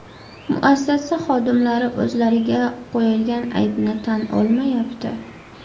Muassasa xodimlari o‘zlariga qo‘yilgan aybni tan olmayapti.